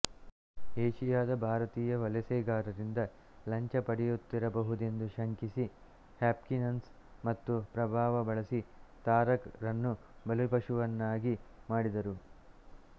ಏಷಿಯಾದ ಭಾರತೀಯ ವಲಸೆಗಾರರಿಂದ ಲಂಚ ಪಡೆಯುತ್ತಿರಬಹುದೆಂದು ಶಂಕಿಸಿ ಹಾಪ್ಕಿನ್ಸನ್ ತಮ್ಮ ಪ್ರಭಾವ ಬಳಸಿ ತಾರಕ್ ರನ್ನು ಬಲಿಪಶುವನ್ನಾಗಿ ಮಾಡಿದರು